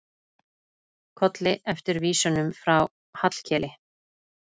Kolli eftir vísunum frá Hallkeli.